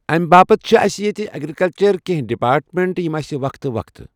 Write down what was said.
M باپَتھ چھِ اَسہِ ییٚتہِ ایگرِکَلچَر کینٛہہ ڈِپاٹمینٛٹ یِم اَسہِ وَقھتہٕ وقھتہٕ